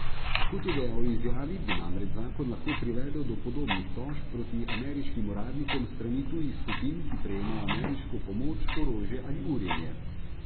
Kot je dejal v izjavi, bi namreč zakon lahko privedel do podobnih tožb proti ameriškim uradnikom s strani tujih skupin, ki prejemajo ameriško pomoč, orožje ali urjenje.